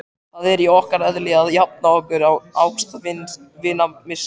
Það er í okkar eðli að jafna okkur á ástvinamissi.